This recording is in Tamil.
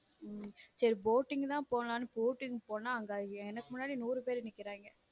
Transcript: சேரி boating தான் போலான்னு கூட்டிட்டு போனா எனக்கு முன்னாடி நுறு பேரு நிக்கிறாங்க.